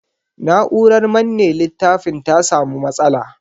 Na'urar manne littafin ta sa mu matsala.